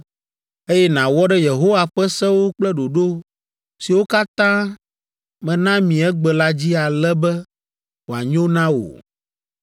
eye nàwɔ ɖe Yehowa ƒe sewo kple ɖoɖo siwo katã mena mi egbe la dzi ale be wòanyo na wò?